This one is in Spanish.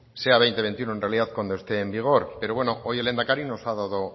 sea veinte veintiuno en realidad cuando esté en vigor pero bueno hoy el lehendakari nos ha dado